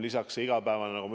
Lisaks igapäevane töö.